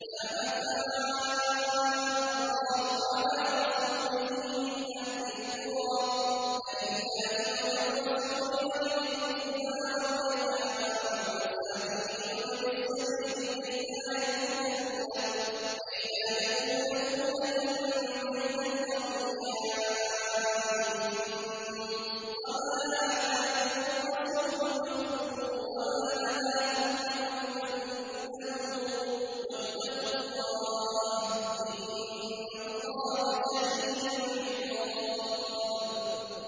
مَّا أَفَاءَ اللَّهُ عَلَىٰ رَسُولِهِ مِنْ أَهْلِ الْقُرَىٰ فَلِلَّهِ وَلِلرَّسُولِ وَلِذِي الْقُرْبَىٰ وَالْيَتَامَىٰ وَالْمَسَاكِينِ وَابْنِ السَّبِيلِ كَيْ لَا يَكُونَ دُولَةً بَيْنَ الْأَغْنِيَاءِ مِنكُمْ ۚ وَمَا آتَاكُمُ الرَّسُولُ فَخُذُوهُ وَمَا نَهَاكُمْ عَنْهُ فَانتَهُوا ۚ وَاتَّقُوا اللَّهَ ۖ إِنَّ اللَّهَ شَدِيدُ الْعِقَابِ